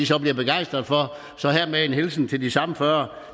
så bliver begejstret for så hermed en hilsen til de samme fyrre